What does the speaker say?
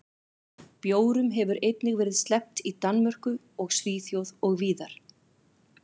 Bjórum hefur einnig verið sleppt í Danmörku og Svíþjóð og víðar.